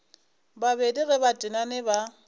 babedi ge ba tenane ba